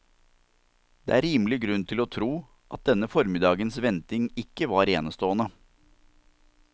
Det er rimelig grunn til å tro at denne formiddagens venting ikke var enestående.